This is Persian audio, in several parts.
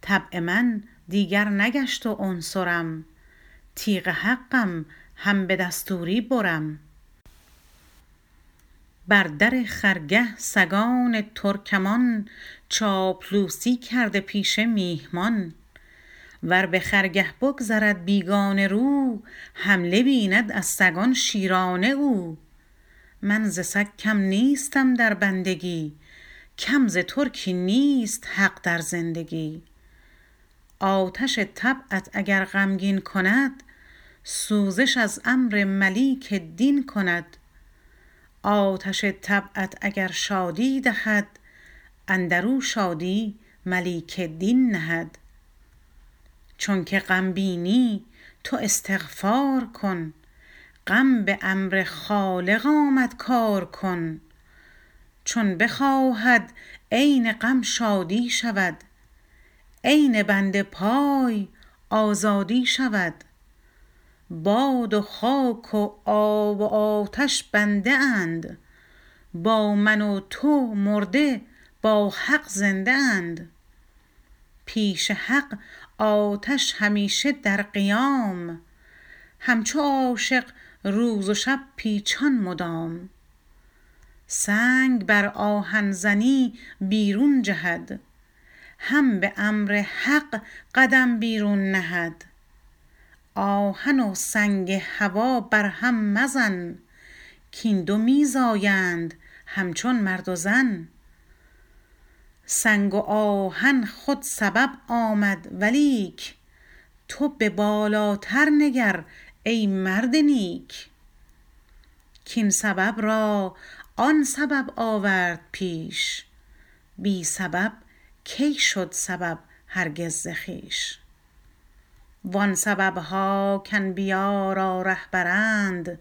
طبع من دیگر نگشت و عنصرم تیغ حقم هم به دستوری برم بر در خرگه سگان ترکمان چاپلوسی کرده پیش میهمان ور بخرگه بگذرد بیگانه رو حمله بیند از سگان شیرانه او من ز سگ کم نیستم در بندگی کم ز ترکی نیست حق در زندگی آتش طبعت اگر غمگین کند سوزش از امر ملیک دین کند آتش طبعت اگر شادی دهد اندرو شادی ملیک دین نهد چونک غم بینی تو استغفار کن غم بامر خالق آمد کار کن چون بخواهد عین غم شادی شود عین بند پای آزادی شود باد و خاک و آب و آتش بنده اند با من و تو مرده با حق زنده اند پیش حق آتش همیشه در قیام همچو عاشق روز و شب پیچان مدام سنگ بر آهن زنی بیرون جهد هم به امر حق قدم بیرون نهد آهن و سنگ هوا بر هم مزن کین دو می زایند همچون مرد و زن سنگ و آهن خود سبب آمد ولیک تو به بالاتر نگر ای مرد نیک کین سبب را آن سبب آورد پیش بی سبب کی شد سبب هرگز ز خویش و آن سببها کانبیا را رهبرند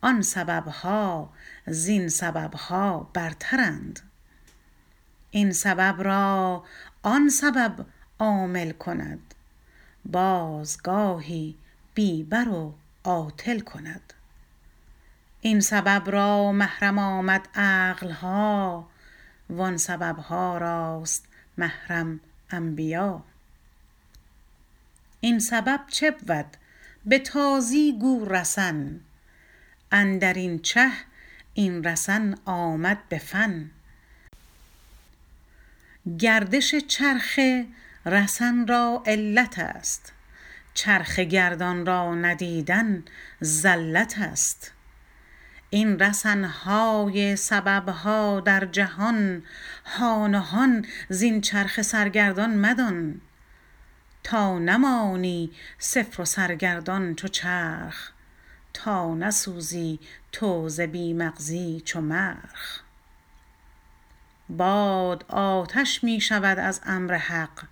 آن سببها زین سببها برترند این سبب را آن سبب عامل کند باز گاهی بی بر و عاطل کند این سبب را محرم آمد عقلها و آن سببها راست محرم انبیا این سبب چه بود بتازی گو رسن اندرین چه این رسن آمد به فن گردش چرخه رسن را علتست چرخه گردان را ندیدن زلتست این رسنهای سببها در جهان هان و هان زین چرخ سرگردان مدان تا نمانی صفر و سرگردان چو چرخ تا نسوزی تو ز بی مغزی چو مرخ باد آتش می شود از امر حق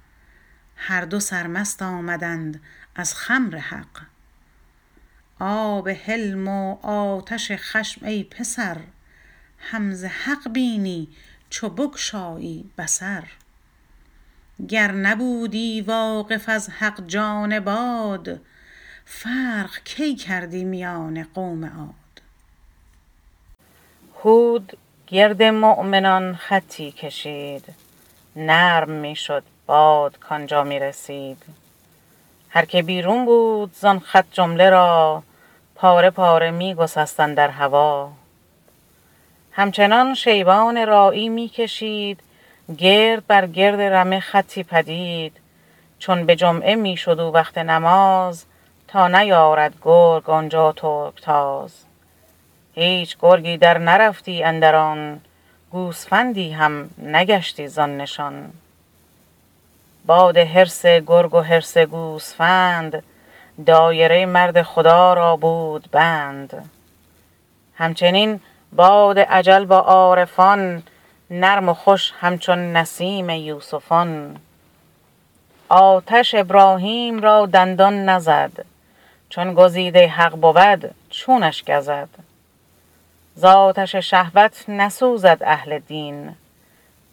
هر دو سرمست آمدند از خمر حق آب حلم و آتش خشم ای پسر هم ز حق بینی چو بگشایی بصر گر نبودی واقف از حق جان باد فرق کی کردی میان قوم عاد هود گرد مؤمنان خطی کشید نرم می شد باد کانجا می رسید هر که بیرون بود زان خط جمله را پاره پاره می گسست اندر هوا همچنین شیبان راعی می کشید گرد بر گرد رمه خطی پدید چون به جمعه می شد او وقت نماز تا نیارد گرگ آنجا ترک تاز هیچ گرگی در نرفتی اندر آن گوسفندی هم نگشتی زان نشان باد حرص گرگ و حرص گوسفند دایره مرد خدا را بود بند همچنین باد اجل با عارفان نرم و خوش همچون نسیم یوسفان آتش ابراهیم را دندان نزد چون گزیده حق بود چونش گزد ز آتش شهوت نسوزد اهل دین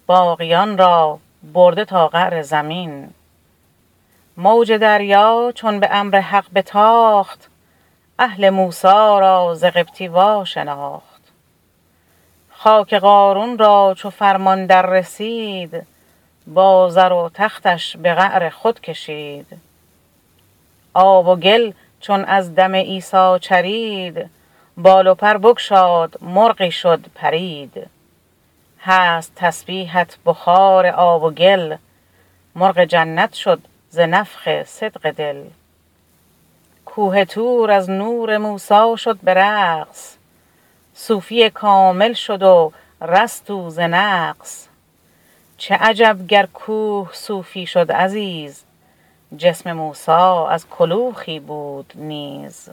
باقیان را برده تا قعر زمین موج دریا چون به امر حق بتاخت اهل موسی را ز قبطی واشناخت خاک قارون را چو فرمان در رسید با زر و تختش به قعر خود کشید آب و گل چون از دم عیسی چرید بال و پر بگشاد مرغی شد پرید هست تسبیحت بخار آب و گل مرغ جنت شد ز نفخ صدق دل کوه طور از نور موسی شد به رقص صوفی کامل شد و رست او ز نقص چه عجب گر کوه صوفی شد عزیز جسم موسی از کلوخی بود نیز